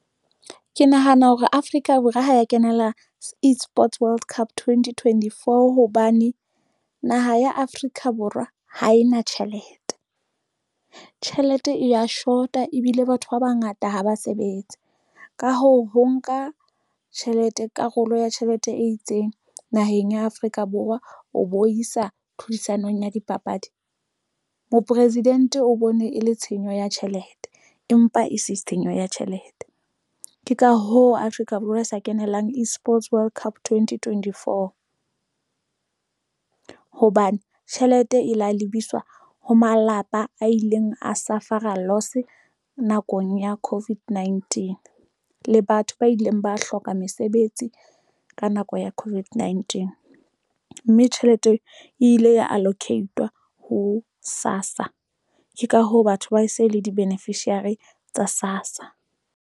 Ke nahana hore Afrika Borwa ha ya kenela eSports World Cup twenty twenty four hobane naha ya Afrika Borwa ha e na tjhelete, tjhelete e ya short-a ebile batho ba bangata ha ba sebetse. Ka hoo, ho nka tjhelete karolo ya tjhelete e itseng naheng ya Afrika Borwa. O bo isa tlhodisanong ya dipapadi, moporesidente o bone e le tshenyo ya tjhelete empa e se tshenyo ya tjhelete ng ke ka hoo Afrika Borwa e sa kenelang eSports World Cup twenty twenty four, hobane tjhelete e la lebiswa ho malapa a ileng a South Africa loss nakong ya Covid nineteen le batho ba ileng ba hloka mesebetsi ka nako ya Covid nineteen mme tjhelete e ile ya allocate-wa ho SASSA, ke ka hoo batho ba e se le di-beneficiary tsa SASSA.